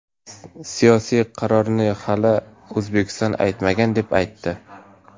Siyosiy qarorni hali O‘zbekiston aytmagan deb ham aytdi.